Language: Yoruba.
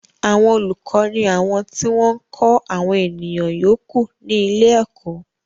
Àwọn olùkọ ni àwọn tí wọ́n ń kọ́ àwọn ènìyàn yòókù ní ilé ẹ̀kọ́